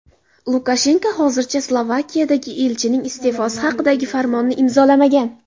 Lukashenko hozircha Slovakiyadagi elchining iste’fosi haqidagi farmonni imzolamagan.